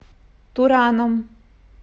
тураном